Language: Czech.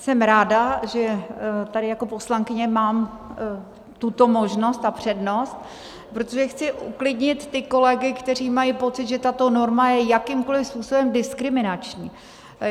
Jsem ráda, že tady jako poslankyně mám tuto možnost a přednost, protože chci uklidnit ty kolegy, kteří mají pocit, že tato norma je jakýmkoliv způsobem diskriminační.